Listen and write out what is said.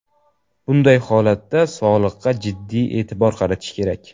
Bunday holatda sog‘liqqa jiddiyroq e’tibor qaratish kerak.